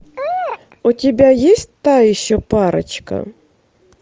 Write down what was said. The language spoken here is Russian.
у тебя есть та еще парочка